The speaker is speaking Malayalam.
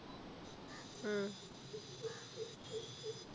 ഉം